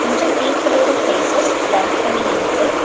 கொஞ்ச பீப்பிளோட faces blur பண்ணி இருக்கு.